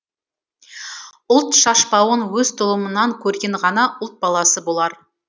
ұлт шашпауын өз тұлымынан көрген ғана ұлт баласы болар